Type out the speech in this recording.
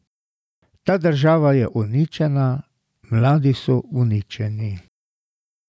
Ta država je uničena, mladi so uničeni.